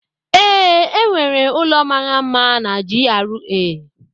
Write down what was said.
Ee, enwere ụlọ mara mma na GRA.